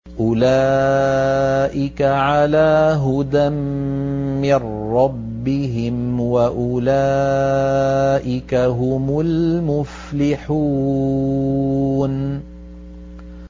أُولَٰئِكَ عَلَىٰ هُدًى مِّن رَّبِّهِمْ ۖ وَأُولَٰئِكَ هُمُ الْمُفْلِحُونَ